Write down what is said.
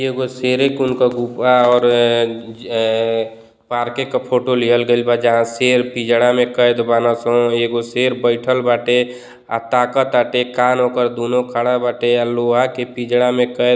एगो शेरे कुल क गुफा और अ अ पार्के क फोटो लिहल गईल बा जहाँ शेर पिजड़ा में कैद बाना स एगो शेर बइठल बाटे आ ताकत बाटे कान ओकर दुनो खड़ा बाटे आ लोहा के पिजड़ा में कैद --